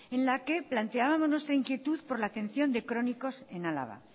en la que planteábamos nuestra inquietud por la atención de crónicos en álava